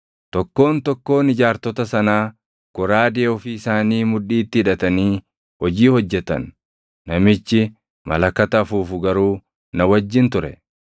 tokkoon tokkoon ijaartota sanaa goraadee ofii isaanii mudhiitti hidhatanii hojii hojjetan. Namichi malakata afuufu garuu na wajjin ture.